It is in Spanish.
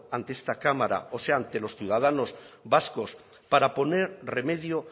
ante esta cámara o sea ante los ciudadanos vascos para poner remedio